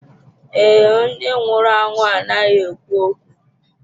Ee, ndị nwụrụ anwụ anaghị ekwu okwu.